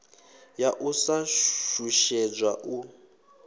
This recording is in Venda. ya u sa shushedzwa u